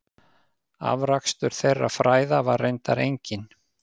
Afrakstur þeirra fræða var reyndar enginn.